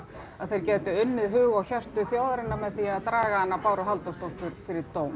að þeir gætu unnið hug og hjörtu þjóðarinnar með því að draga hana Báru Halldórsdóttur fyrir dóm